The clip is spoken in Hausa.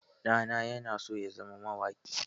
Ɗana ya so ya zama mawaƙi.